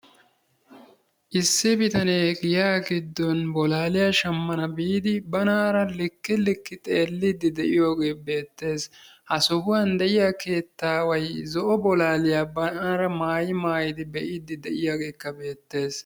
issi bitanee giyaa giddon bolaaliya shamana biidi banara likki likki xeeliidi de'iyooge beetees. ha sohuwan de'iya keettaway zo'o bolaliya banaara maayi maayidi be'iidi de'iyaageekka beetees.